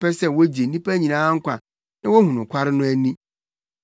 ɔpɛ sɛ wogye nnipa nyinaa nkwa na wohu nokware no ani.